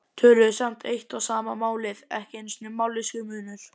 tölum við samt eitt og sama málið, ekki einusinni mállýskumunur.